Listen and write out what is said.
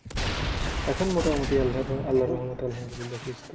এখন মোটামুটি আল্লার আল্লার রহমতে আলহামদুল্লিয়াহ সুস্থ।